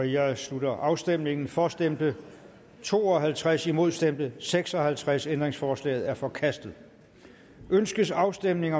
jeg slutter afstemningen for stemte to og halvtreds imod stemte seks og halvtreds ændringsforslaget er forkastet ønskes afstemning